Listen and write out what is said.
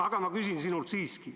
Aga ma küsin sinult seda.